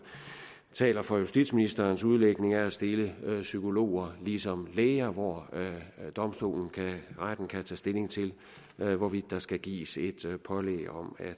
taler for justitsministerens udlægning at stille psykologer ligesom læger hvor domstolen eller retten kan tage stilling til hvorvidt der skal gives et pålæg om